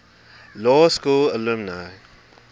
law school alumni